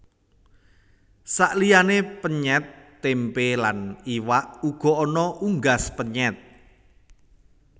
Saliyané penyèt tempé lan iwak uga ana unggas penyèt